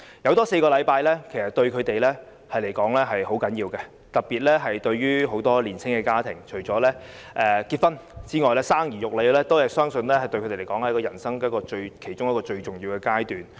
增加4個星期產假對她們來說十分重要，特別是年青家庭，除了結婚之外，生兒育女相信是人生其中一個重要階段。